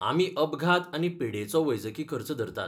आमी अपघात आनी पिडेचो वैजकी खर्च धरतात.